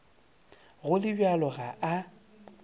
go le bjalo ga a